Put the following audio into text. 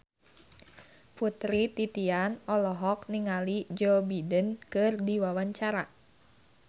Putri Titian olohok ningali Joe Biden keur diwawancara